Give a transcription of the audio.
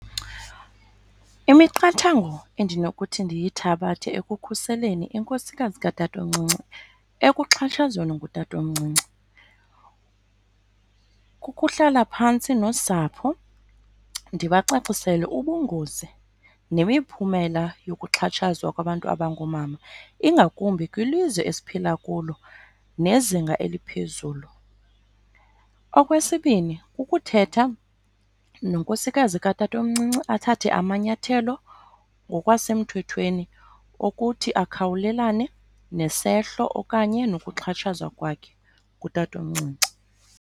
Imiqathango endinokuthi ndiyithabathe ekukhuseleni inkosikazi katatomncinci ekuxhatshazweni ngutatomncinci kukuhlala phantsi nosapho ndibacacisele ubungozi nemiphumela yokuxhatshazwa kwabantu abangoomama, ingakumbi kwilizwe esiphila kulo nezinga eliphezulu. Okwesibini, kukuthetha nonkosikazi katatomncinci athathe amanyathelo ngokwasemthethweni ukuthi akhawulelane nesehlo okanye nokuxhatshazwa kwakhe ngutatomncinci.